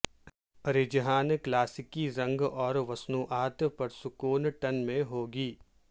رجحان کلاسیکی رنگ اور مصنوعات پرسکون ٹن میں ہو گی